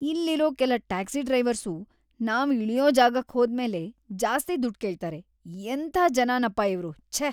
ಇಲ್ಲಿರೋ ಕೆಲ taxi drivers ನಾವ್‌ ಇಳ್ಯೋ ಜಾಗಕ್ ಹೋದ್ಮೇಲೆ ಜಾಸ್ತಿ ದುಡ್ಡ್ ಕೇಳ್ತಾರೆ, ಎಂಥಾ ಜನನಪ್ಪಾ ಇವ್ರು.. ಛೇ!